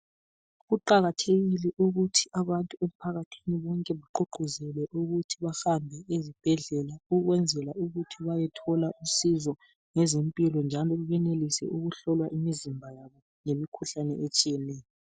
kuqakathekile ukuthi abantu emphakathini wonke bagqugquzelwe ukuthi bahambe ezibhedlela ukwenzela ukuthi bayethola usizo ngezempilo njalo benelise ukuhlolwa imizimba yabo ngemikhuhlane etshiyeneyo